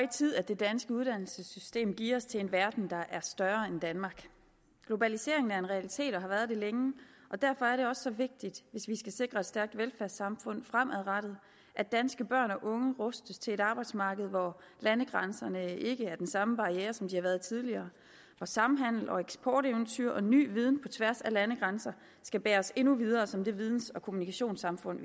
tid at det danske uddannelsessystem geares til en verden der er større end danmark globaliseringen er en realitet og har været det længe og derfor er det også så vigtigt hvis vi skal sikre et stærkt velfærdssamfund fremadrettet at danske børn og unge rustes til et arbejdsmarked hvor landegrænserne ikke er den samme barriere som de har været tidligere og samhandel eksporteventyr og ny viden på tværs af landegrænser skal bære os endnu videre som det videns og kommunikationssamfund